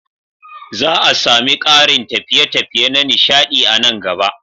Za a sami ƙarin tafiye-tafiye na nishaɗi a nan gaba.